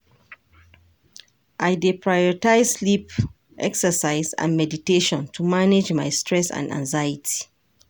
I dey prioritize sleep, exercise and meditation to manage my stress and anxiety.